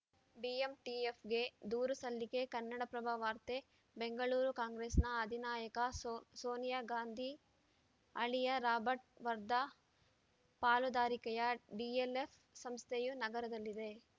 ಬಿಎಂಟಿಎಫ್‌ಗೆ ದೂರು ಸಲ್ಲಿಕೆ ಕನ್ನಡಪ್ರಭ ವಾರ್ತೆ ಬೆಂಗಳೂರು ಕಾಂಗ್ರೆಸ್‌ನ ಅಧಿನಾಯಕ ಸೋನಿಯಾಗಾಂಧಿ ಅಳಿಯ ರಾಬರ್ಟ್‌ ವಾದ್ರಾ ಪಾಲುದಾರಿಕೆಯ ಡಿಎಲ್‌ಎಫ್‌ ಸಂಸ್ಥೆಯು ನಗರದಲ್ಲಿ